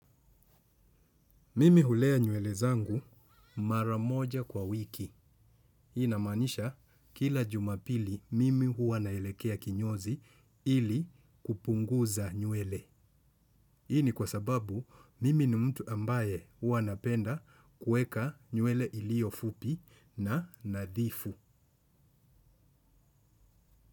Mimi hulea nywele zangu mara moja kwa wiki. Inamaanisha kila jumapili mimi huwa naelekea kinyozi ili kupunguza nywele. Hi ini kwa sababu mimi ni mtu ambaye huwa napenda kuweka nywele iliyo fupi na nadhifu.